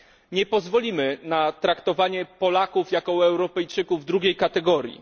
Nie pozwolimy na traktowanie Polaków jako Europejczyków drugiej kategorii.